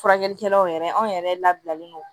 Furakɛlikɛlaw yɛrɛ anw yɛrɛ labilalen don